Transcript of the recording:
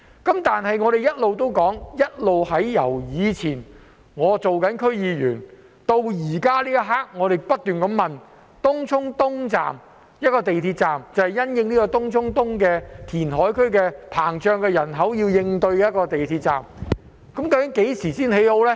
不過，由我以前擔任區議員至今，我不斷問及東涌東站，即是因應東涌東填海區的人口增加而興建的一個港鐵站，究竟何時才會建成呢？